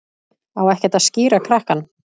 Á ekkert að skíra krakkann?